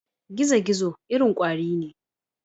Gizo-gizo irin kwari ne.